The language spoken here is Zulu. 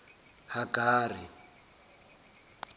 hagari